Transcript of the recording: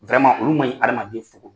olu man ɲi adamaden nfogo